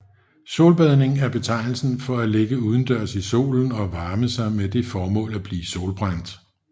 Solbadning er betegnelsen for at ligge udendørs i solen og varme sig med det formål at blive solbrændt